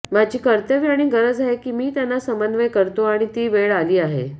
माझी कर्तव्य आणि गरज आहे की मी त्यांना समन्वय करतो आणि ती वेळ आली आहे